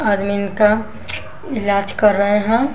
आदमीन का इलाज कर रहे हैं।